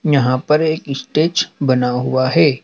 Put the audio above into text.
यहां पर एक स्टेज बना हुआ है।